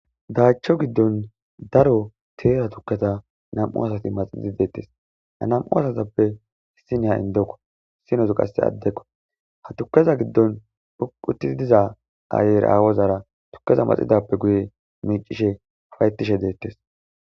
Daacho giddon daro teera tukketa nam7u asati maxidi deettes ha nam7u asatappe issi nayiya indekko hissinozu qasse addekko ha tukeza giddon utti diza daayer aawozara tukkeza maxidappe guye miicishe ufaytishe deettes.